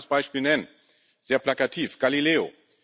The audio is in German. Ich will ein weiteres Beispiel nennen, sehr plakativ Galileo.